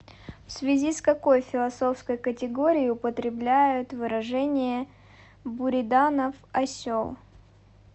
в связи с какой философской категорией употребляют выражение буриданов осел